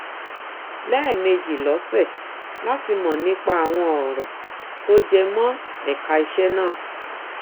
lẹẹmejì lọsẹ láti mọ nípa àwọn ọrọ tó jẹ mọ ẹka iṣẹ náà